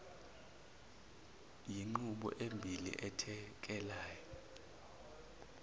yinqubo embili ethekelana